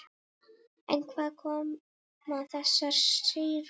En hvaðan koma þessar sýrur?